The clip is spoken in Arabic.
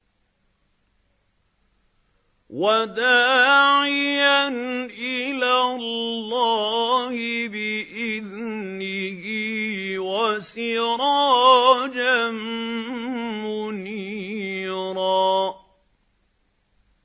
وَدَاعِيًا إِلَى اللَّهِ بِإِذْنِهِ وَسِرَاجًا مُّنِيرًا